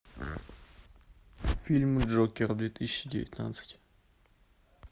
фильм джокер две тысячи девятнадцать